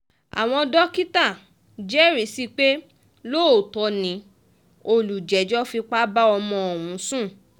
àwọn dókítà jẹ́rìí sí i pé lóòótọ́ ni olùjẹ́jọ́ fipá bá ọmọ ọ̀hún sùn